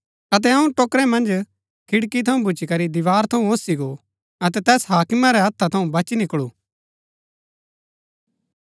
अतै अऊँ टोकरै मन्ज खिड़की थऊँ भूच्ची करी दीवार थऊँ ओसी गो अतै तैस हाकिम रै हत्था थऊँ बची निकलू